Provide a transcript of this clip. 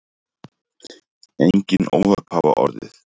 Engin óhöpp hafa orðið